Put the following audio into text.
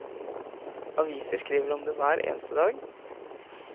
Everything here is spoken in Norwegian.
Aviser skriver om det hver eneste dag.